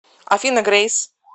афина грейс